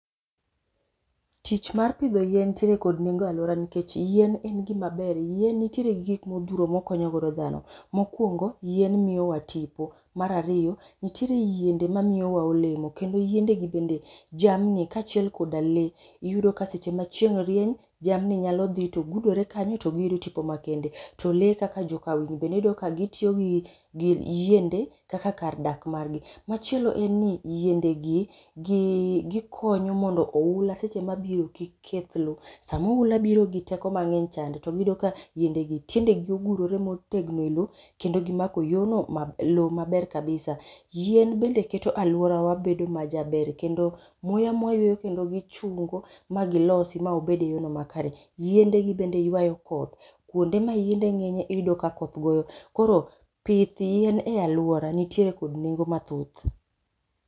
Tich mar pidho yien nitiere kod nengo e alwora nikech yien en gima ber. Yien nitiere gi gik modhuro mokonyo god dhano. Mokuongo yien miyo wa tipo. Mar ariyo nitiere yeinde ma miyo wa olemo kendo yiende gi bende jamni ka achiel koda lee yudo ka seche ma cheing' rieny jamni nyalo dhi to gudore kanyo to giyudo tipo ma kende. To lee kaka joka winy bende iyudo ka gitiyo gi yiende kaka kar dak margi. Machiel en ni yiende gi gikonyo mondo ohula seche ma biro kik keth lo. Sama ohula biro gi teko mang'eny chande to giyudo ka yiende gi tiende gi ogurore motegno e lo kendo gimako yo no, lo maber kabisa. Yien bende keto alwora wa bedo ma jaber kendo muya mwayueyo kendo gichungo ma gilosi ma obed e yo no makare. Yiende gi bende yuayo koth. Kuonde ma yiende ng'enye iyudo ka koth goyo. Koro pith yien e alwora nitiere kod nengo mathoth.